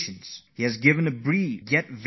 Come, let me tell you the message of Shri Rao